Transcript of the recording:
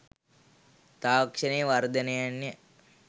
තාක්ෂණයේ වර්ධනයන් ය